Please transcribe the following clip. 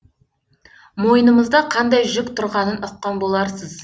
мойнымызда қандай жүк тұрғанын ұққан боларсыз